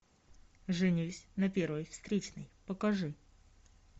женись на первой встречной покажи